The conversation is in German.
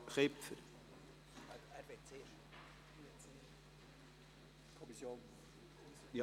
Der Regierungsrat macht den Erfolg der Projekte und Massnahmen von der finanzpolitischen Entwicklung abhängig.